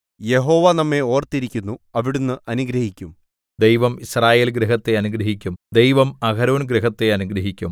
യഹോവ നമ്മെ ഓർത്തിരിക്കുന്നു അവിടുന്ന് അനുഗ്രഹിക്കും ദൈവം യിസ്രായേൽഗൃഹത്തെ അനുഗ്രഹിക്കും ദൈവം അഹരോൻഗൃഹത്തെ അനുഗ്രഹിക്കും